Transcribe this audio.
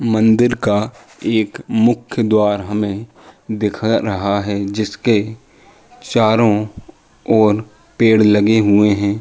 मंदिर का एक मूख द्वार हमें दिख रहा है। जिसके चारो ओर पेड़ लगे हुए हैं।